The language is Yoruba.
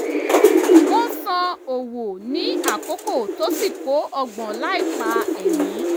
wọ́n san owó ní àkókò tó sì kó ọgbọ́n láìpa ẹ̀mí